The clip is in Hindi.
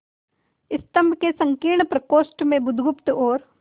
स्तंभ के संकीर्ण प्रकोष्ठ में बुधगुप्त और